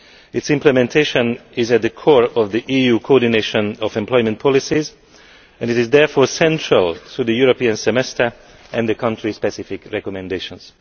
Its implementation is at the core of the EU coordination of employment policies and it is therefore central to the European Semester and the country specific recommendations.